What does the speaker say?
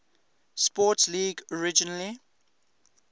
sports league originally